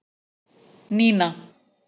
Nína